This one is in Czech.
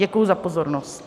Děkuji za pozornost.